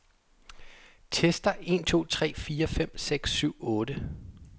Tester en to tre fire fem seks syv otte.